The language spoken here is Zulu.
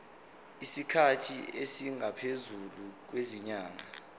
isikhathi esingaphezulu kwezinyanga